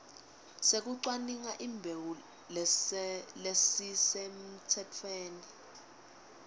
sekucwaninga imbewu lesisemtsetfweni